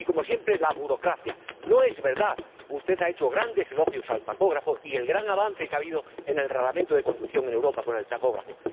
Y, como siempre, aducen la burocracia. No es verdad. Usted ha hecho grandes elogios al tacógrafo y al gran avance que ha habido en el reglamento de conducción en Europa con el tacógrafo.